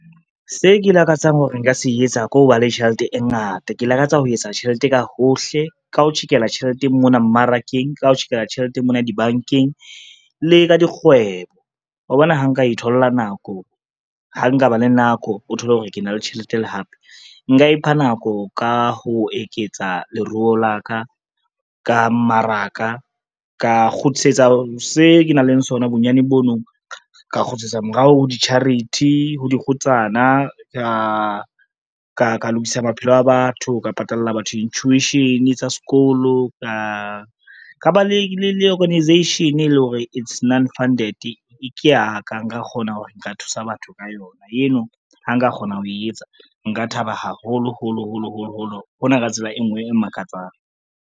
Se ke lakatsang hore nka se etsa ke ho ba le tjhelete e ngata. Ke lakatsa ho etsa tjhelete ka hohle, ka ho tjhekela tjheleteng mona mmarakeng, ka ho tjhekela tjhelete mona dibankeng le ka dikgwebo. Wa bona ha nka thola nako, ha nkaba le nako o thole hore ke na le tjhelete le hape, nka ipha nako ka ho eketsa leruo la ka ka mmaraka ka kgutlisetsa se ke nang le sona bonyane bono ka kgutlisetsa morao ho di-charity, ho dikgutsana ka lokisa maphelo a batho, ka patalla batho di-tuition tsa sekolo ka ba le organization e le hore e non-funded, ke ya ka nka kgona hore nka thusa batho ka yona. Eno ha nka kgona ho e etsa, nka thaba haholo holo holo holo holo hona ka tsela e ngwe e makatsang.